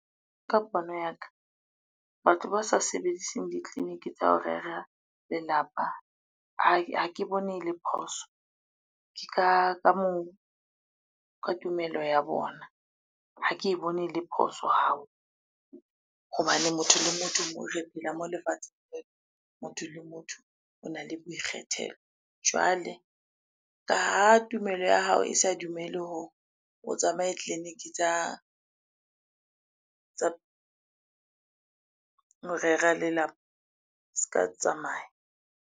Ka pono ya ka batlo, ba sa sebediseng ditleliniki tsa ho rera lelapa. Ha ke bone ele phoso, ke ka moo, ka tumelo ya bona. Ha ke e bone ele phoso . Hobane motho le motho moo re phela mo lefatshe motho le motho o na le boikgethelo. Jwale ka ha tumelo ya hao e sa dumele ho, o tsamaye tleliniki tsa ho rera lelapa, se ka tsamaya.